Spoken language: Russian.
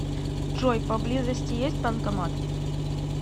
джой по близости есть банкомат